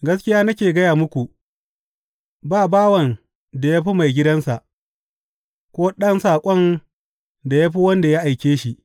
Gaskiya nake gaya muku, ba bawan da ya fi maigidansa, ko ɗan saƙon da ya fi wanda ya aike shi.